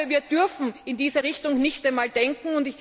Wir dürfen in diese Richtung nicht einmal denken.